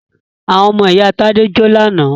Àwọn ọmọ ìyá Tádé jó ní àná.